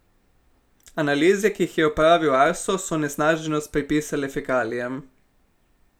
Analize, ki jih je opravil Arso, so onesnaženost pripisale fekalijam.